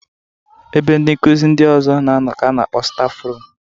Ebe ndị nkuzi ndị ọzọ na-anọ ka a na-akpọ stafrum.